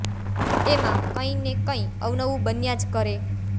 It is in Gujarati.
એમાં કંઈ ને કંઈ અવનવું બન્યા જ કરે